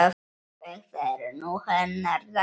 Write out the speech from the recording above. Þetta er nú hennar dagur.